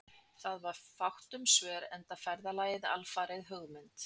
Það var fátt um svör, enda ferðalagið alfarið hugmynd